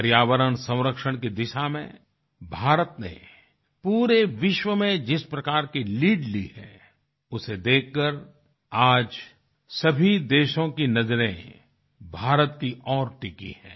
पर्यावरण संरक्षण की दिशा में भारत ने पूरे विश्व में जिस प्रकार की लीड ली है उसे देखकर आज सभी देशों की नजरे भारत की ओर टिकी है